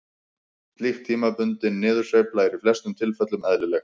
Slík tímabundin niðursveifla er í flestum tilfellum eðlileg.